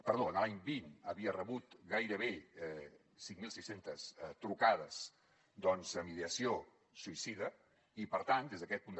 perdó l’any dos mil vint havia rebut gairebé cinc mil sis cents trucades amb ideació suïcida i per tant des d’aquest punt de